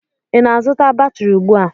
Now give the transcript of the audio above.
Ị na-azụta batrị ugbu a?